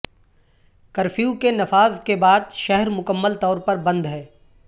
curfew کے نفاذ کے بعد شہر مکمل طور پر بند ہے